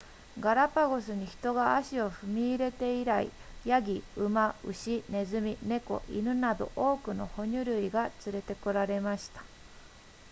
ガラパゴスに人が足を踏み入れて以来ヤギ馬牛ネズミ猫犬など多くの哺乳類が連れて来られました